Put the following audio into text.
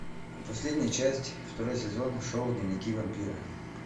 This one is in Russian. последняя часть второй сезон шоу дневники вампира